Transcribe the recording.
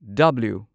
W